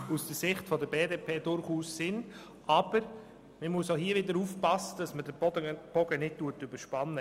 Das ist durchaus sinnvoll, aber man darf auch hier den Bogen nicht überspannen.